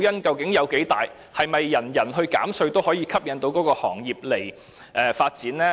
究竟這誘因有多大，以及是否減稅便一定能夠吸引某些行業來港發展？